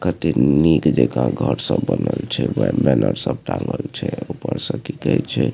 कते निक जाका घर सब बनल छै ओय के बाद बैनर सब टाँगल छै ऊपर से की कहे छै --